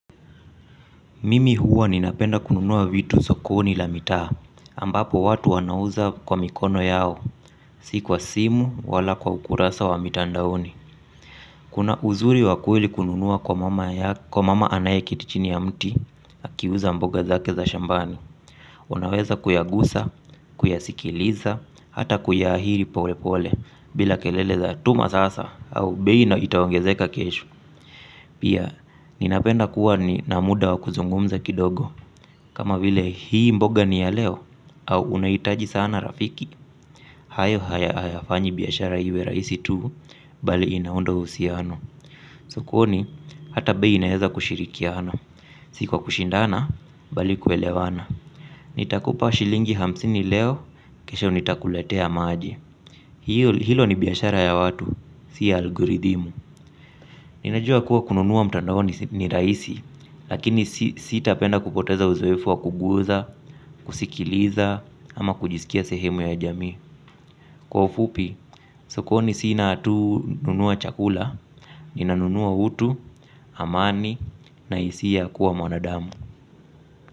Mimi huwa ninapenda kununua vitu sokoni la mitaa, ambapo watu wanauza kwa mikono yao, sikwa simu wala kwa ukurasa wa mitandaoni. Kuna uzuri wakweli kununua kwa mama anaye kiti chini ya mti, akiuza mboga zake za shambani. Unaweza kuyagusa, kuyasikiliza, hata kuyaahiri pole pole, bila kelele za atuma sasa, au beii na itawangezeka keshu. Pia, ninapenda kuwa na muda wa kuzungumza kidogo. Kama vile hii mboga ni ya leo au unaitaji sana rafiki. Hayo haya fanyi biashara iwe raisi tu. Bali inaundoa uhusiano. Sokoni, hata bei inaeza kushirikiana. Sikwa kushindana, bali kwelewana. Nitakupa shilingi hamsini leo. Kesha nitakuletea maji. Hilo ni biashara ya watu. Sia alguridhimu. Ninajua kuwa kununua mtandaoni ni raisi. Lakini sitapenda kupoteza uzoefu wa kuguza, kusikiliza ama kujisikia sehemu ya jamii. Kwa ufupi, sokoni s inatu nunua chakula, ninanunua utu, amani na isia ya kua mwanadamu.